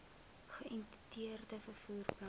geïntegreerde vervoer plan